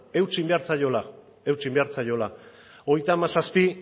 eutsi egin behar zaiola hogeita hamazazpi